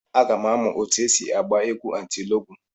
Aga m amụ etu esi agba egwu atilọgwụ.